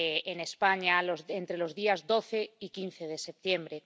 en España entre los días 12 y 15 de septiembre.